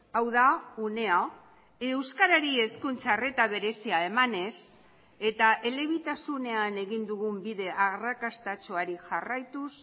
hau da unea euskarari hezkuntza arreta berezia emanez eta elebitasunean egin dugun bide arrakastatsuari jarraituz